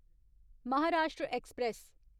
Maharashtra express